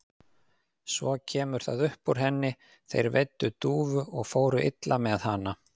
Svo kemur það upp úr henni: Þeir veiddu dúfu og fóru illa með hana.